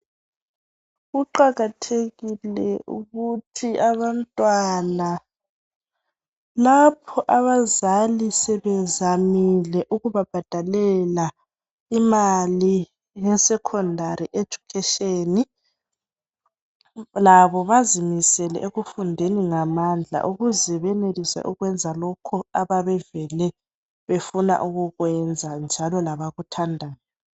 Kuqakathekile ukuthi abantwana lapho abzali sebezamile ukubabhadalela imali yesecondary esucation labo bazimisele ukufunda ngamandla ukuze benelise ukwenza lokhu ababevele befuna ukukwenza njalo labakuthandayo.